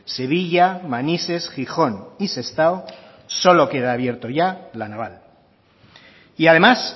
sevilla manises gijón y sestao solo queda abierto ya la naval y además